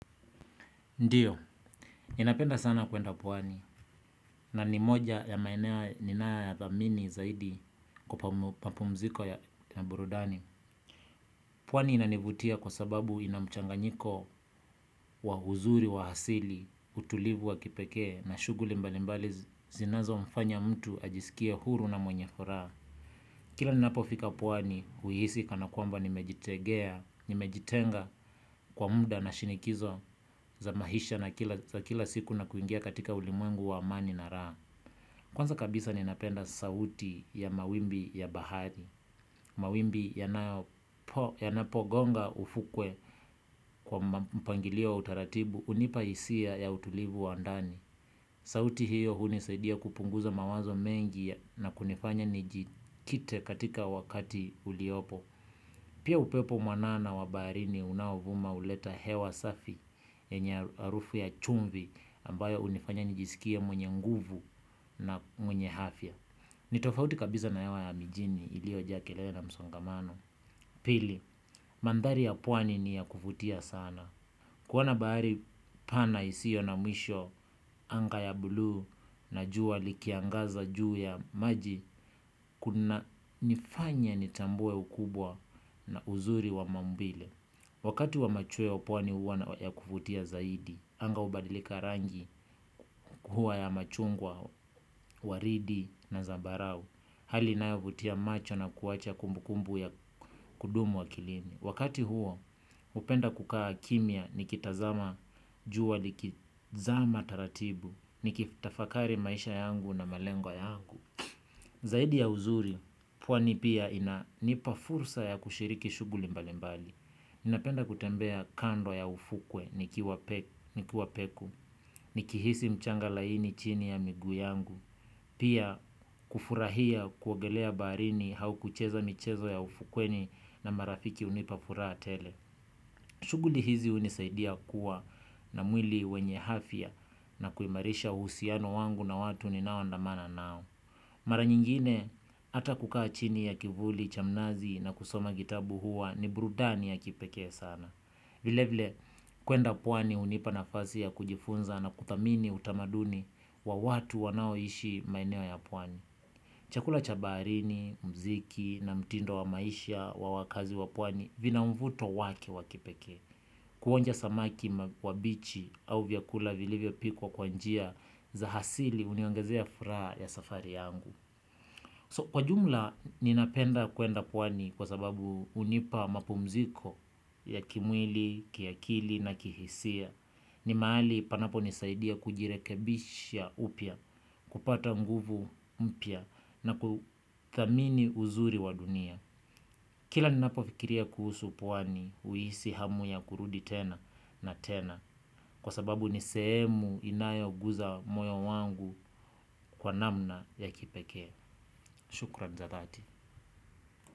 Ndio, ninapenda sana kwenda pwani na ni moja ya maeneo ninayo ya thamini zaidi kwa mapumziko ya burudani. Pwani inanivutia kwa sababu inamchanganyiko wa uzuri wa asili, utulivu wa kipekee na shuguli mbalimbali zinazomfanya mtu ajisikie huru na mwenye furaha. Kila ninapofika pwani, huhisi kana kwamba nimejitegea, nimejitenga kwa muda na shinikizo za maisha za kila siku na kuingia katika ulimwengu wa amani na raha. Kwanza kabisa ninapenda sauti ya mawimbi ya bahari. Mawimbi yanapogonga ufukwe kwa mpangilio wa utaratibu hunipa hisia ya utulivu wa ndani. Sauti hiyo hunisadia kupunguza mawazo mengi na kunifanya nijikite katika wakati uliopo. Pia upepo mwanana wa baharini unaovuma huleta hewa safi yenye harufu ya chumvi ambayo hunifanya nijisikie mwenye nguvu na mwenye afya. Ni tofauti kabisa na hewa ya mijini iliyo jaa kelele na msongamano. Pili, mandari ya pwani ni ya kuvutia sana. Kuona bahari pana isiyo na mwisho, anga ya buluu na jua likiangaza juu ya maji, kuna nifanya nitambue ukubwa na uzuri wa maumbile. Wakati wa machweo pwani huwa na ya kuvutia zaidi, anga hubadilika rangi huwa ya machungwa, waridi na zabarau, hali inayovutia macho na kuacha kumbu kumbu ya kudumu akilini. Wakati huo, hupenda kukaa kimya, nikitazama jua likizama taratibu, nikitafakari maisha yangu na malengo yangu. Zaidi ya uzuri, pwani pia inanipa fursa ya kushiriki shughuli mbalimbali. Ninapenda kutembea kando ya ufukwe, nikuwa peku, nikihisi mchanga laini chini ya miguu yangu. Pia kufurahia kuogelea baharini au kucheza michezo ya ufukweni na marafiki hunipa furaha tele. Shughuli hizi hunisaidia kuwa na mwili wenye afya na kuimarisha uhusiano wangu na watu ni nao andamana nao. Mara nyingine, hata kukaa chini ya kivuli cha mnazi na kusoma kitabu huwa ni burudani ya kipekee sana. Vilevile, kwenda pwani hunipa nafasi ya kujifunza na kuthamini utamaduni wa watu wanao ishi maeneo ya pwani. Chakula cha baharini, mziki na mtindo wa maisha wa wakazi wa pwani vina mvuto wake wa kipekee. Kuonja samaki kwa bichi au vyakula vilivyo pikwa kwa njia za asili huniongezea furaha ya safari yangu. So kwa jumla ninapenda kwenda pwani kwa sababu hunipa mapumziko ya kimwili, kiakili na kihisia. Ni mahali panapo nisaidia kujirekebisha upya, kupata nguvu mpya na kuthamini uzuri wa dunia. Kila ni napofikiria kuhusu pwani huhisi hamu ya kurudi tena na tena. Kwa sababu ni sehemu inayo guza moyo wangu kwa namna ya kipekee. Shukran za dati.